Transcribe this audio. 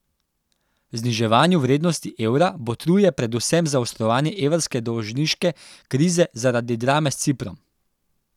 Zniževanju vrednosti evra botruje predvsem zaostrovanje evrske dolžniške krize zaradi drame s Ciprom.